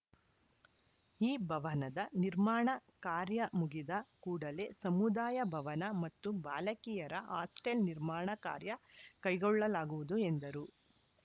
ಈ ಭವನದ ನಿರ್ಮಾಣ ಕಾರ‍್ಯ ಮುಗಿದ ಕೂಡಲೇ ಸಮುದಾಯ ಭವನ ಮತ್ತು ಬಾಲಕಿಯರ ಹಾಸ್ಟೆಲ್‌ ನಿರ್ಮಾಣ ಕಾರ‍್ಯ ಕೈಗೊಳ್ಳಲಾಗುವುದು ಎಂದರು